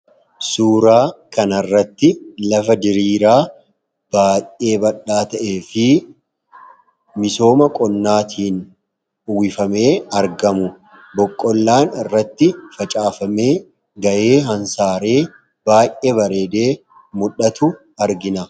Suuraa kan irratti lafa diriiraa baay'ee bal'aa ta'ee fi misooma qonnaatiin uwifamee argamu boqqollaan irratti facaafamee ga'ee hansaaree baay'ee bareedee mul'atu argina.